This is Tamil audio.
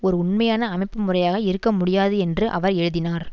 ஓர் உண்மையான அமைப்புமுறையாக இருக்க முடியாது என்று அவர் எழுதினார்